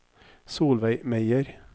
Solveig Meyer